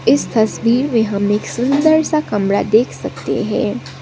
इस तस्वीर में हम एक सुंदर सा कमरा देख सकते हैं।